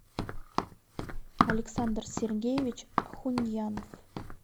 александр сергеевич ахуньянов